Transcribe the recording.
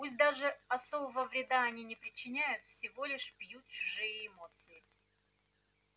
пусть даже особого вреда они не причиняют всего лишь пьют чужие эмоции